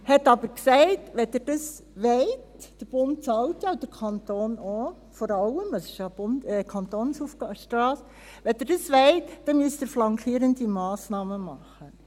Man sagte aber: Wenn Sie dies wollen – der Bund bezahlt ja, und vor allem auch der Kanton, es ist ja eine Kantonsstrasse –, dann müssen Sie flankierende Massnahmen treffen.